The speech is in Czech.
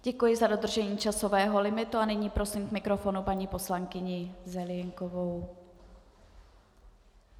Děkuji za dodržení časového limitu a nyní prosím k mikrofonu paní poslankyni Zelienkovou.